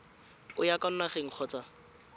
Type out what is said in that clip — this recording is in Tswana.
o ya kwa nageng kgotsa